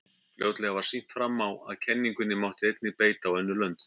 fljótlega var sýnt fram á að kenningunni mátti einnig beita á önnur lönd